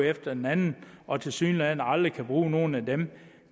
efter den anden i og tilsyneladende aldrig kan bruge nogen af dem